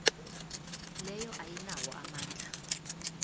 leyo ayinawo amandla